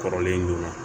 Kɔrɔlen joona